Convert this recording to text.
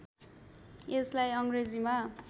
यसलाई अङ्ग्रेजीमा